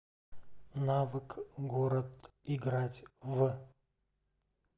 навык город играть в